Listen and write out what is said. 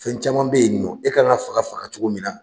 Fɛn caman bɛ yen nɔ e kan ka faga faga cogo min na